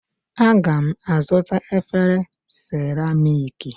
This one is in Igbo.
Aga m azụta efere seramiiki